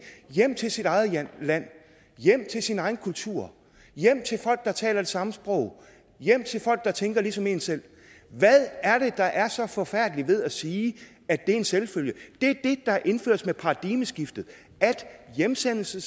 hjem til sit eget land land hjem til sin egen kultur hjem til folk der taler det samme sprog hjem til folk der tænker ligesom en selv hvad er det der er så forfærdeligt ved at sige at det er en selvfølge det der indføres med paradigmeskiftet er at hjemsendelse